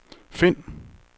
find